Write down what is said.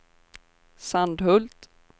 Sandhult